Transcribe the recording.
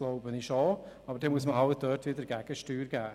Aber dann muss man dort halt wieder Gegensteuer geben.